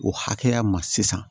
O hakɛya ma sisan